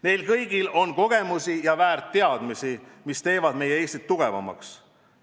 Neil kõigil on kogemusi ja väärt teadmisi, mis teevad meie Eestit tugevamaks.